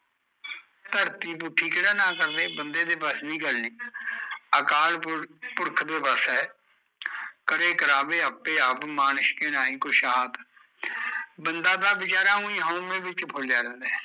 ਧਰਤੀ ਪੁੱਠੀ ਕਿਹੜਾ ਨਾ ਕਰਦੇ ਬੰਦੇ ਦੇ ਵਸ ਦੀ ਗੱਲ ਨੀ ਅਕਾਲ ਪੁਰਖ ਦੇ ਵਸ ਐ, ਕਰੇ ਕਰਾਵੈ ਆਪੇ ਆਪ ਮਾਣਸ ਕੇ ਕੁਸ਼ ਨਾਹੀ ਹਾਥ, ਬੰਦਾ ਤਾਂ ਵਿਚਾਰਾ ਉਹੀਂ ਹਉਮੈ ਵਿੱਚ ਫੁਲਿਆ ਰਹਿੰਦਾ ਐ